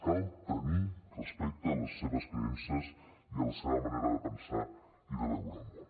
cal tenir respecte a les seves creences i a la seva manera de pensar i de veure el món